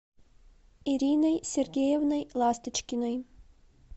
ириной сергеевной ласточкиной